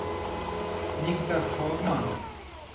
Niklas Hagman